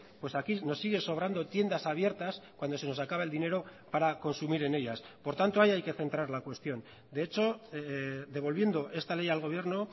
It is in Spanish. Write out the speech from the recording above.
pues aquí nos sigue sobrando tiendas abiertas cuando se nos acaba el dinero para consumir en ellas por tanto ahí hay que centrar la cuestión de hecho devolviendo esta ley al gobierno